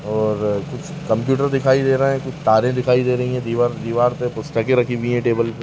और कुछ कंप्यूटर दिखाई दे रहा है कुछ तारे दिखाई दे रही है दिवार दिवार पे पुस्तकें रखीं हुई हैं टेबल --